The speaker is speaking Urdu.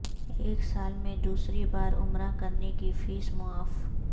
ایک سال میں دوسری بار عمرہ کرنے کی فیس معاف